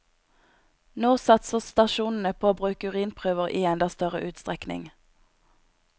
Nå satser stasjonen på å bruke urinprøver i enda større utstrekning.